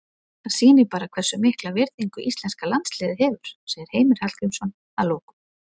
Það sýnir bara hversu mikla virðingu íslenska landsliðið hefur, segir Heimir Hallgrímsson að lokum.